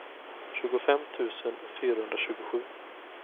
tjugofem tusen fyrahundratjugosju